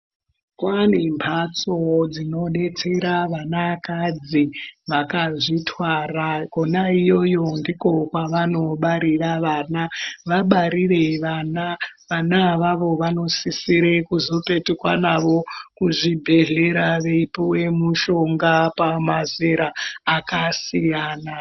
Kwaane mbatso dzinodetsera wana kadzi wakazvitwara, kona iyoyo ndiko kwawano barira wana, wabarire wana awawo wanosisire kuzopetukwa nawo kuzvibhedhlera weipuwe mushonga pamazera akasiyana.